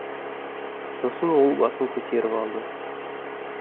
сосын ол басын көтеріп алды